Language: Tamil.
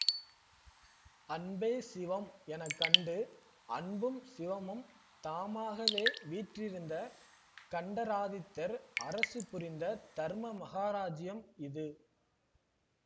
அன்பே சிவம் எனக்கண்டு அன்பும் சிவமும் தாமாகவே வீற்றிருந்த கண்டராதித்தர் அரசு புரிந்த தர்ம மகாராஜ்யம் இது